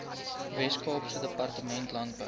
weskaapse departement landbou